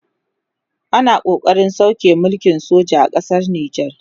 ana ƙoƙarin sauke mulkin soja a ƙasar nijar